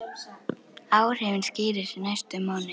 Áhrifin skýrist næstu mánuði.